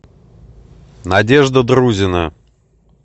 надежда друзина